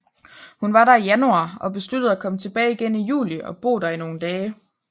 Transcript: Hun var der i januar og besluttede at komme tilbage igen i juli og bo der i nogle dage